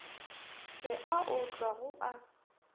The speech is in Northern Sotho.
se a otlwa go a